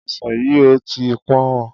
Ọsàn yìí ò tí ì pọ̀n-ọ́n.